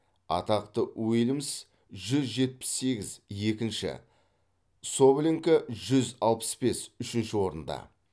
атақты уильмс жүз жетпіс сегіз екінші соболенко жүз алпыс бес үшінші орында